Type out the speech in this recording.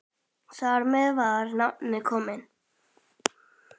Þar með var nafnið komið.